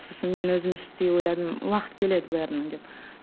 сосын мен өзім іштей ойладым уақыт келеді бәрінің деп